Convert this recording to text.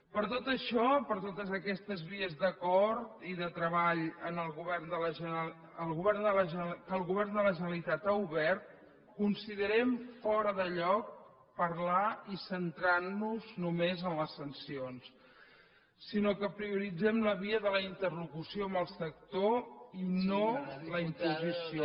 per tot això per totes aquestes vies d’acord i de treball que el govern de la generalitat ha obert considerem fora de lloc parlar i centrar nos només en les sancions sinó que prioritzem la via de la interlocució amb el sector i no la imposició